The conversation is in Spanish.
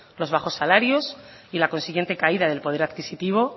los bajos salarios y la consiguiente caída del poder adquisitivo